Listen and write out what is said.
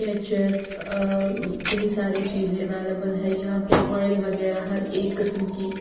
ketchup अ कही सारी चीज़ें अवेलेबल हैं यहाँ पे ऑयल वगैरह हर एक किस्म की --